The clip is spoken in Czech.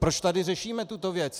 Proč tady řešíme tuto věc?